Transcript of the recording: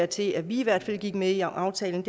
til at vi i hvert fald gik med i aftalen